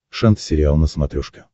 шант сериал на смотрешке